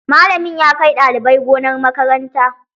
Malamin ya kai ɗalibai gonar makaranta.